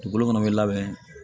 Dugukolo munnu be labɛn